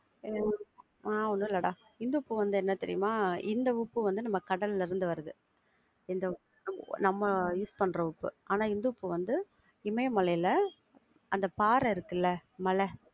ஆஹ் ஒன்னும் இல்லடா, இந்துப்பு வந்து என்ன தெரியுமா? இந்த உப்பு வந்து நம்ம கடல்ல இருந்து வரது, இந்த உப்பு, நம்ம use பண்ற உப்பு. ஆனா இந்துப்பு வந்து இமயமலை அந்த பாறை இருக்குல, மல.